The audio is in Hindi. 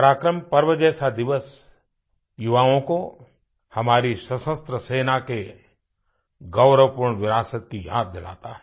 पराक्रम पर्व जैसा दिवस युवाओं को हमारी सशस्त्र सेना के गौरवपूर्ण विरासत की याद दिलाता है